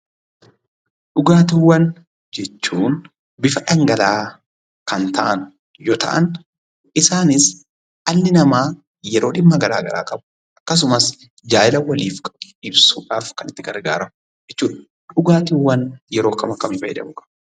Dhugaatiwwaan jechuun; bifa dhangala'a Kan ta'an yoo ta'an isaanis, dhalli nama yeroo dhimma garagaraa qabu akkasumas, jaalalaa waliif qabu ibsuudhaaf Kan itti gargaraamu jechuudha. Dhugaatiwwaan yeroo akkam akkami gargaraamu qabu?